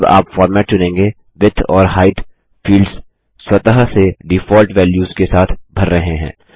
जब आप फॉर्मेट चुनेंगे विड्थ और हाइट फील्ड्स स्वतः से डिफ़ॉल्ट वेल्यूस के साथ भर रहे हैं